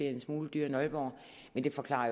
er en smule dyrere end aalborg men det forklarer